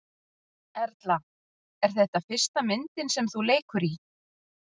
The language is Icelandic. Erla: Er þetta fyrsta myndin sem þú leikur í?